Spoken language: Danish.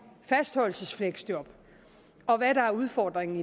fastholdelsesfleksjob og hvad udfordringen